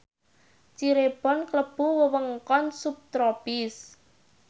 Cirebon klebu wewengkon subtropis